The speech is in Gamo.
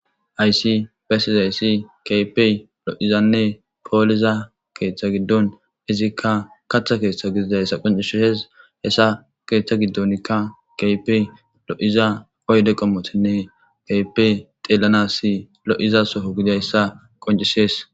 Ayssi besizayssi kapey lo'izanne pooliza keeththa giddon izikka katha keeththa gididayssa qoncisheshes hessa keeththa giddonkka kaypey lo'iza oyde qommotinne keypey xeelana si lo'iza soho gidayssa qoncisees